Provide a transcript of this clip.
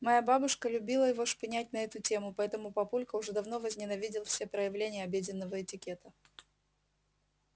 моя бабушка любила его шпынять на эту тему поэтому папулька уже давно возненавидел все проявления обеденного этикета